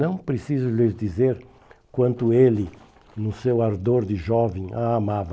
Não preciso lhes dizer quanto ele, no seu ardor de jovem, a amava.